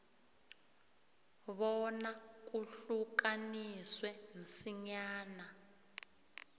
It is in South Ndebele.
bona kuhlukaniswe msinyana